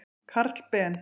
Karl Ben.